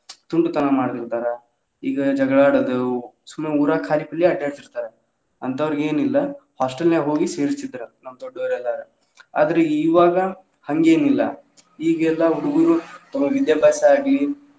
ತುಂಟ ತನಾ ಮಾಡ್ತಿರ್ಥರ ಈಗ ಜಗಳಾ ಆಡುದು ಸುಮ್ನೆ ಊರಾಗ ಕಾಲಿ ಪಿಲಿ ಅಡ್ಯಾಡತಿರ್ತಾವ ಅಂತಾವ್ರಿಗ್ ಏನ್ ಇಲ್ಲ hostel ನ್ಯಾಗ ಹೋಗಿ ಸೇರಸ್ತಿದ್ರ ನಮ್ಮ ದೊಡ್ಡೋವ್ರ ಎಲ್ಲಾರ ಆದ್ರ ಇವಾಗ ಹಂಗೆನಿಲ್ಲಾ ಈಗೆಲ್ಲಾ ಹುಡುಗುರು ತಮ್ಮ ವಿದ್ಯಾಭ್ಯಾಸ ಆಗ್ಲಿ.